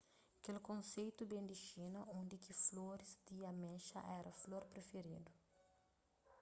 kel konseitu ben di xina undi ki floris di amexa éra flor prifiridu